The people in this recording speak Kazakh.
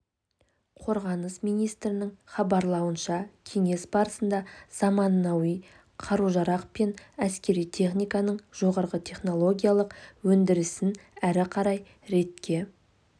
қорғаныс министрлігінің хабарлауынша кеңес барысында заманауи қару-жарақ пен әскери техниканың жоғары технологиялық өндірісін әрі қарай ретке